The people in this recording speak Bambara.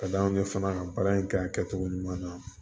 Ka d'anw ye fana ka baara in kɛ a kɛcogo ɲuman na